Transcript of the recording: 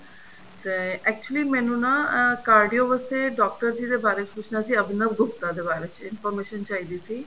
ਤੇ actually ਮੈਂਨੂੰ ਨਾ ਅਹ cardio ਵਾਸਤੇ ਡਾਕਟਰ ਜੀ ਦੇ ਬਾਰੇ ਪੁੱਛਣਾ ਸੀ ਅਭਿਨਵ ਗੁਪਤਾ ਦੇ ਬਾਰੇ ਚ information ਚਾਹੀਦੀ ਸੀ